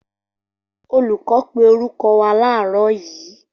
Olùkọ́ pé orúkọ wá làárọ́ yíí